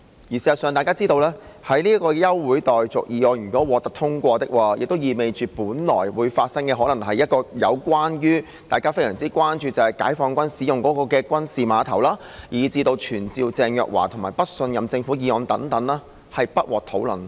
事實上，大家也知道，如果這項休會待續議案獲得通過，意味着本來會討論的議項，包括大家非常關注的解放軍軍事碼頭，以至傳召鄭若驊及不信任政府的議案將不獲討論。